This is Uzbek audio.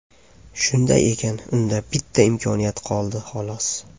Shunday ekan, unda bitta imkoniyat qoldi, xolos.